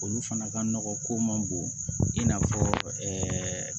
Olu fana ka nɔgɔn ko man bon i n'a fɔ ɛɛ